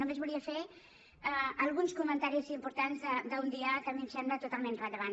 només volia fer alguns comentaris importants d’un dia que a mi em sembla totalment rellevant